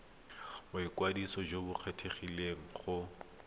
boikwadiso jo bo kgethegileng go